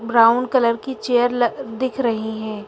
Brown colour की chair ल दिख रही है।